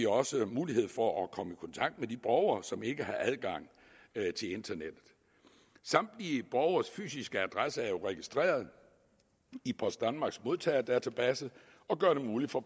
også mulighed for at komme i kontakt med de borgere som ikke har adgang til internettet samtlige borgeres fysiske adresse er jo registreret i post danmarks modtagerdatabase og gør det muligt for